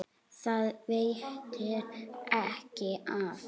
Það veitti ekki af.